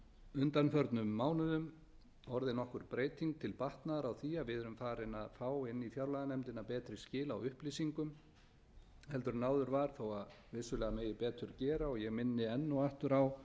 undanförnum mánuðum orðið nokkur breyting til batnaðar á því að við erum farin að fá inn í fjárlaganefndina betri skil á upplýsingum en áður var þó að vissulega megi betur gera og ég minni enn og aftur á